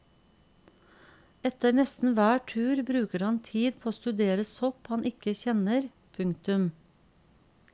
Etter nesten hver tur bruker han tid på å studere sopp han ikke kjenner. punktum